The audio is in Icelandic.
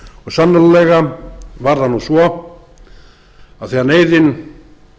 gleymast og sannarlega var það nú svo að þegar neyðin